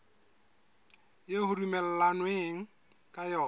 eo ho dumellanweng ka yona